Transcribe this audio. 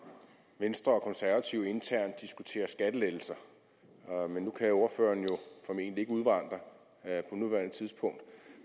venstre og konservative internt diskuterer skattelettelser nu kan ordføreren jo formentlig ikke udvandre på nuværende tidspunkt